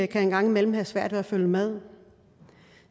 kan en gang imellem have svært ved at følge med